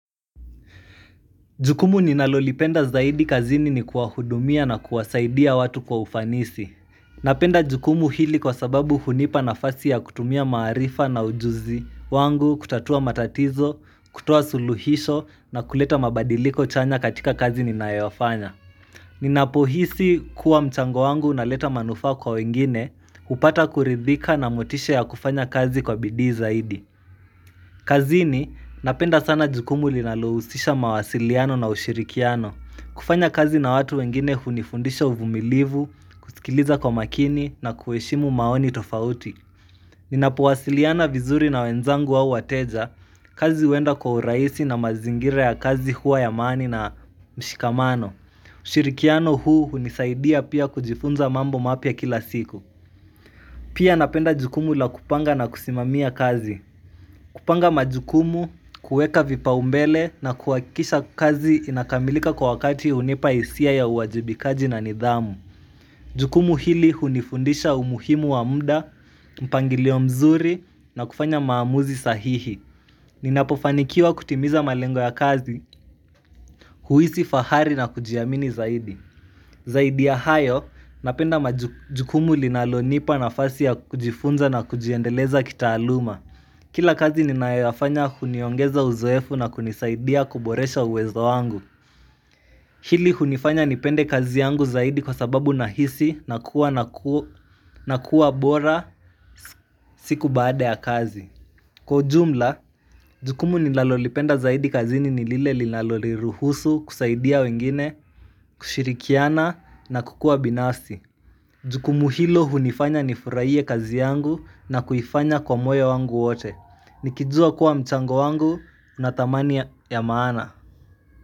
Jukumu ninalolipenda zaidi kazini ni kuwahudumia na kuwasaidia watu kwa ufanisi. Napenda jukumu hili kwa sababu hunipa na fasi ya kutumia maarifa na ujuzi wangu kutatua matatizo, kutoa suluhisho na kuleta mabadiliko chanya katika kazi ninayo ya fanya. Ninapohisi kuwa mchango wangu na leta manufaa kwa wengine, hupata kuridhika na motisha ya kufanya kazi kwa bidhii zaidi. Kazini napenda sana jukumu linalohusisha mawasiliano na ushirikiano. Kufanya kazi na watu wengine hunifundisha uvumilivu, usikiliza kwa makini na kuheshimu maoni tofauti. Ninapo wasiliana vizuri na wenzangu wa wateja kazi huenda kwa urahisi na mazingira ya kazi huwa ya amani na mshikamano. Ushirikiano huu hunisaidia pia kujifunza mambo mapya kila siku. Pia napenda jukumu la kupanga na kusimamia kazi. Kupanga majukumu, kuweka vipaumbele na kuhakikisha kazi inakamilika kwa wakati hunipa hisia ya uwajibikaji na nidhamu. Jukumu hili hunifundisha umuhimu wa mda, mpangilio mzuri na kufanya maamuzi sahihi. Ninapofanikiwa kutimiza malengo ya kazi, huhisi fahari na kujiamini zaidi. Zaidi ya hayo, napenda jukumu linalonipa na fasi ya kujifunza na kujiendeleza kitaaluma. Kila kazi ninayo ya fanya huniongeza uzoefu na kunisaidia kuboresha uwezo wangu. Hili hunifanya nipende kazi yangu zaidi kwa sababu nahisi na kuwa na ku na kuwa bora siku baada ya kazi. Kwa jumla, jukumu nilalolipenda zaidi kazini nilile lilaloniruhusu kusaidia wengine, kushirikiana na kukua binafsi. Jukumu hilo hunifanya nifurahie kazi yangu na kuifanya kwa moyo wangu wote. Nikizua kuwa mchango wangu na thamani ya maana.